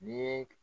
Ni ye